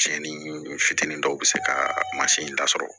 Cɛnni fitinin dɔw bi se ka in da sɔrɔ